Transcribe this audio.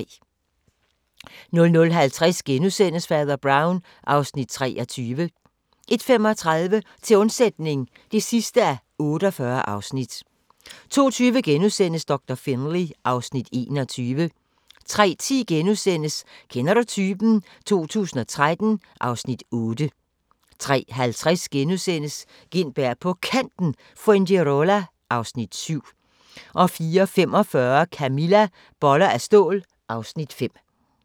00:50: Fader Brown (Afs. 23)* 01:35: Til undsætning (48:48) 02:20: Doktor Finlay (Afs. 21)* 03:10: Kender du typen? 2013 (Afs. 8)* 03:50: Gintberg på Kanten – Fuengirola (Afs. 7)* 04:45: Camilla - Boller af stål (Afs. 5)